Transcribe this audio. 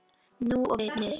Núll og nix.